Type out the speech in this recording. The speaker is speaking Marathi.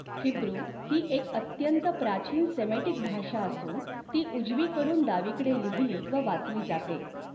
हिब्रुू ही एक अत्यंत प्राचीन सेमेटिक भाषा असून ती उजवीकडून डावीकडे लिहिली व वाचली जाते.